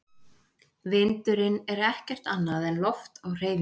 Vindurinn er ekkert annað en loft á hreyfingu.